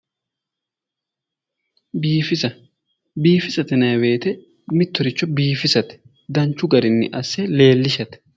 Biifissa, biifisate yinnanni woyte mittoricho biifissate danchu garinni asse leelishate